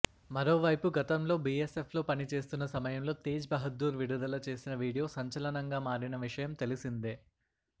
మరోవైపు గతంలో బీఎస్ఎఫ్లో పనిచేస్తున్న సమయంలో తేజ్ బహదూర్ విడుదల చేసిన వీడియో సంచలనంగా మారిన విషయం తెలిసిందే